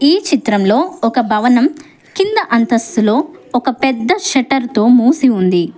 ఈ చిత్రంలో ఒక భవనం కింద అంతస్తులో ఒక పెద్ద షట్టర్ తో మూసి ఉంది.